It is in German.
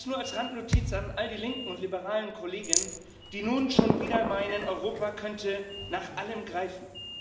Das nur als Randnotiz an all die linken und liberalen Kollegen, die nun schon wieder meinen, Europa könnte nach allem greifen.